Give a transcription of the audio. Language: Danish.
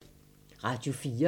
Radio 4